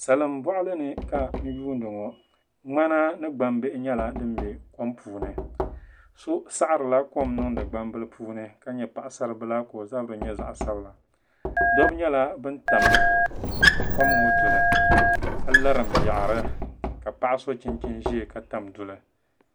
salimbɔɣili ni ka n yuuni ŋɔ ŋmana ni gbambihi nyɛla din be kom puuni so sahirila kom n-niŋdi gbambila puuni ka nyɛ paɣisaribila ka o zabiri nyɛ zaɣ' sabila dabba nyɛla bana tam kom ŋɔ duli ka larim yaɣiri ka paɣa so chinchini ʒaya ka tam duli